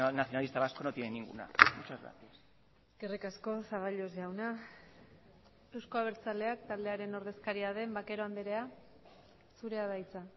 nacionalista vasco no tiene ninguna muchas gracias eskerrik asko zaballos jauna euzko abertzaleak taldearen ordezkaria den vaquero andrea zurea da hitza